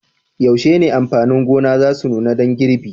Yaushe ne amfanin gona za su nuna dan girbi?